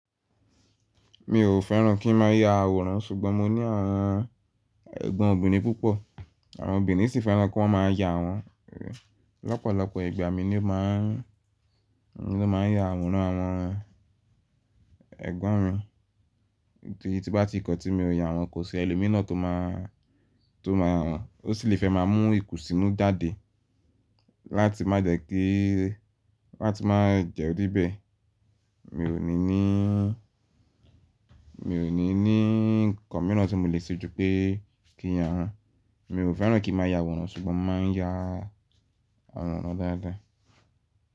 Mi ò fẹ́ràn kí n má ya àwòrán ṣùgbọ́n mo ní àwọn ẹ̀gbọ́n obìnrin púpọ̀, àwọn obìnrin sì fẹ́ràn kí wọ́n má a ya wọn. Ọ̀pọ̀lọpọ̀ ìgbà ni mí má a ń ya àwòrán àwọn ẹ̀gbọ́n mi. Torí tí bá ti kọ̀ tí mo ya wọn kò sí ẹlòmíràn tó má a hàn. Ó sì lè fẹ́ má a mú ìkùnsínú jáde láti má jẹ́ kí ó tó má a jẹ́ òdí bẹ́ẹ̀. Mi ò ní ní nǹkan mìíràn tí mo lè ṣe ju pé kí n ya wọn. Mi ò fẹ́ràn kí n má ya àwòrán ṣùgbọ́n má a ń ya àwòrán da da.